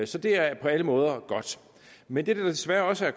så det er på alle måder godt men det der desværre også er